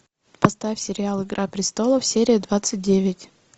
поставь сериал игра престолов серия двадцать девять